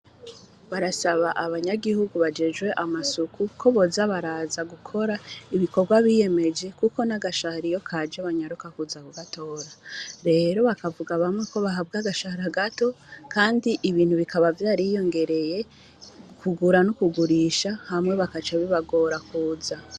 Barasaba abanyagihugu bajejwe amasuku ko bozabaraza gukora ibikorwa biyemeje, kuko n'agashahriyo kaje banyaruka kuza ku gatora rero bakavuga bamwe ko bahabwe agashahara gato, kandi ibintu bikaba vyariyongereye ukugura n'ukugurisha hamwe bakacabibagora kuza.